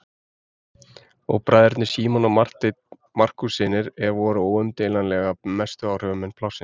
Og bræðurnir Símon og Marteinn Markússynir voru óumdeilanlega mestu áhrifamenn plássins.